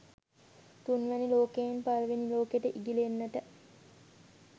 තුන්වැනි ලෝකයෙන් පළවෙනි ලෝකෙට ඉගිලෙන්නට